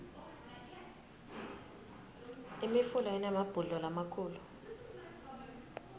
imifula inemabhudlo lamakhulu